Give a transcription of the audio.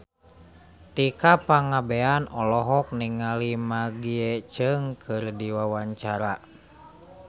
Tika Pangabean olohok ningali Maggie Cheung keur diwawancara